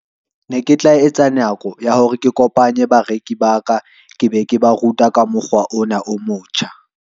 Ne ke tla etsa nako ya hore ke kopanye bareki ba ka, ke be ke ba ruta ka mokgwa ona o motjha.